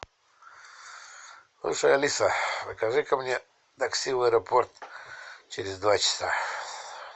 слушай алиса закажи ка мне такси в аэропорт через два часа